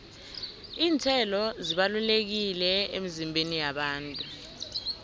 iinthelo zibalulekile emizimbeni yabantu